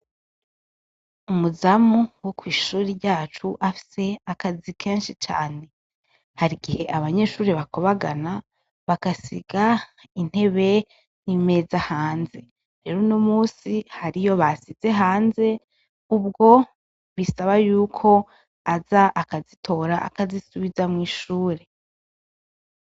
Umuzamu wo kw'ishuri ryacu afise akazi kenshi cane hari igihe abanyeshuri bakubagana bagasiga intebe n'imeza hanze rero no musi harizo basize hanze ubwo bisaba yuko aza akazitora akazisubiza mwishure.